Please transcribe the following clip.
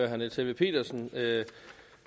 herre niels helveg petersen